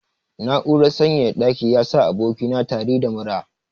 Na'urar sanyaya ɗaki yasa aboki na tari da mura.